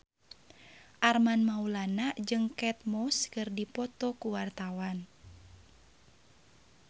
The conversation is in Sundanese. Armand Maulana jeung Kate Moss keur dipoto ku wartawan